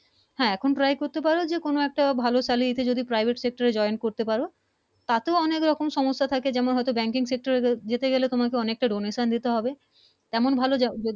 হ্যা এখন Try করতে পারো যে কোন একটা ভালো Salary ভালো Private Sector Join করতে পারো তাতেও অনেক রকম সমস্যা থাকে হয়তো Banking Sector যেতে গেলে অনেক টা Donation দিতে হবে তেমন ভালো